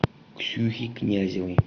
ксюхе князевой